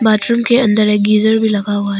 Bathroom के अंदर एक गीजर भी लगा हुआ है।